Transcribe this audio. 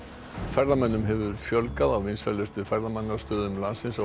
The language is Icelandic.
ferðamönnum hefur fjölgað á vinsælustu ferðamannastöðum landsins